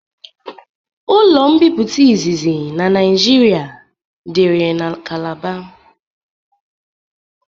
Ụlo mbipụta izizi na naijịrịa diri na kalabar